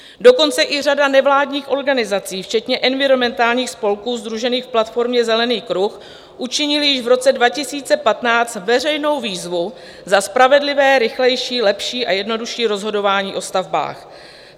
Dokonce i řada nevládních organizací včetně environmentálních spolků sdružených v platformě Zelený kruh učinila již v roce 2015 veřejnou výzvu za spravedlivé, rychlejší, lepší a jednodušší rozhodování o stavbách.